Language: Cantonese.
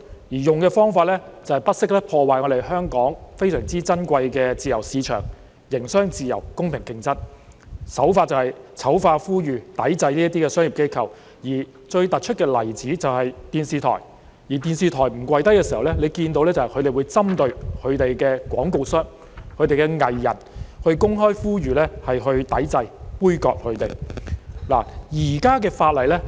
使用的方法就是不惜破壞香港非常珍貴的自由市場、營商自由、公平競爭，手法就是醜化、呼籲抵制這些商業機構，而最突出的例子就是電視台，當電視台不"跪低"時，他們會針對相關廣告商和藝人，公開呼籲抵制、杯葛他們。